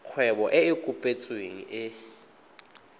kgwebo e e kopetsweng e